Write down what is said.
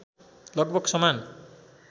लगभग समान